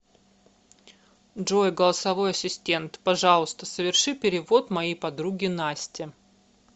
джой голосовой ассистент пожалуйста соверши перевод моей подруге насте